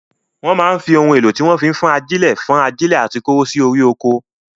Wọ́n máa ń fi ohun èlò tí wọ́n fi ń fọ́n ajílẹ̀ fọ́n ajílẹ̀ àti kóró sí orí oko.